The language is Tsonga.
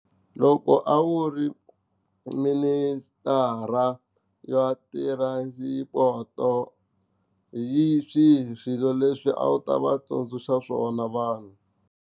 Loko a wu ri minister ya transport hi swihi swilo leswi a wu ta va tsundzuxa swona vanhu.